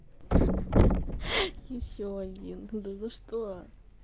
ещё один да за что